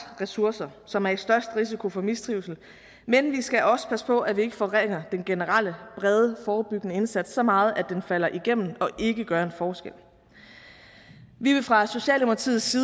ressourcer som er i størst risiko for mistrivsel men vi skal også passe på at vi ikke forringer den generelle brede forebyggende indsats så meget at den falder igennem og ikke gør en forskel vi vil fra socialdemokratiets